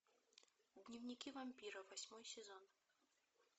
дневники вампира восьмой сезон